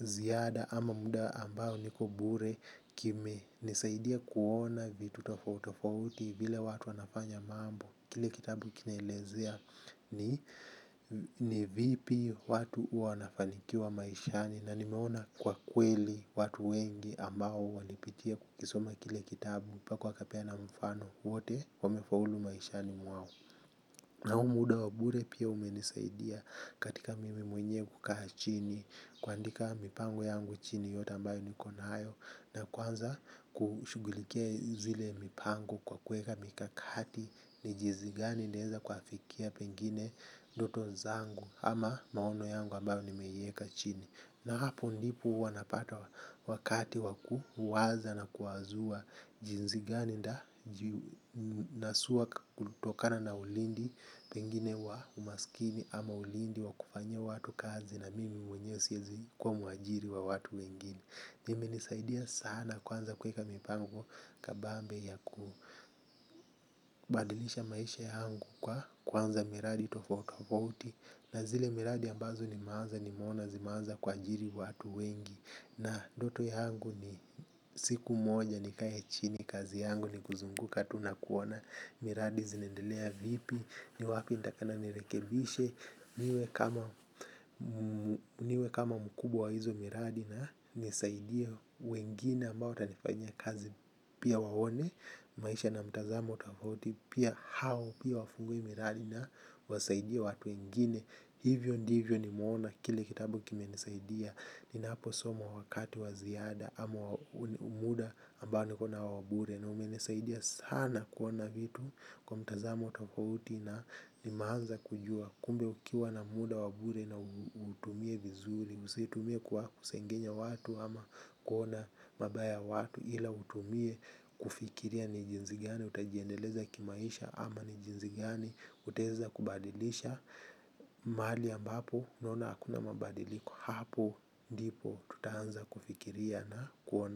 ziada ama muda ambao niko bure kime nisaidia kuona vitu tofautofauti vile watu wanafanya mambo. Kile kitabu kinelezea ni vipi watu wanafanikiwa maishani na nimeona kwa kweli watu wengi ambao walipitia kukisoma kile kitabu Paku wakapea na mfano wote wamefaulu maishani mwao na huu muda wa bure pia umeniasaidia katika mimi mwenyewe kukaa chini kuandika mipango yangu chini yote ambayo niko nayo nakuanza kushughulikia zile mipango kwa kuweka mikakati ni jinsi gani nitaweza kufikia pengine ndoto zangu ama maono yangu ambayo ni meieka chini. Na hapo ndipo wanapata wakati waku waza na kuwazua jinzigani nda nasua kutokana na ulindi pengine wa umasikini ama ulindi wa kufanya watu kazi na mimi mwenye siyazi kwa muajiri wa watu wengine. Nime nisaidia sana kwanza kuweka mipango kabambe ya kubadilisha maisha yangu kwa kuanza miradi tofautofauti. Na zile miradi ambazo ni meanza ni meona zimaanza kua jiri watu wengi. Na ndoto yangu ni siku moja ni kae a chini kazi yangu ni kuzunguka tunakuona. Miradi zinendelea vipi ni wapi initakana nirekebishe. Niwe kama mkubwa hizo miradi na nisaidia wengine ambao watanifanyia kazi pia waone. Maisha na mtazamo tofauti pia hao pia wafunguwe miradi na wasaidia watu wengine. Hivyo ndivyo ni meona kile kitabu kime nisaidia. Ninapo somo wakati waziada ama muda ambao nikaona wabure na umenesaidia sana kuona vitu kwa mtazamo tofauti na limeanza kujua kumbe ukiwa na muda wabure na utumie vizuri usitumie kwa kusengenya ama kuona mabaya ya watu ila utumie kufikilia ni jinsi gani utajiendeleza kimaisha ama ni jinsi gani utaweza badilisha mahali ambapo unona hakuna mabadiliko hapo ndipo tutaanza kufikiria na kuona.